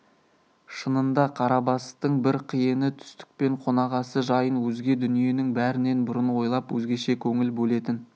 шынында қарабастың бір қиыны түстік пен қонақасы жайын өзге дүниенің бәрінен бұрын ойлап өзгеше көңіл бөлетін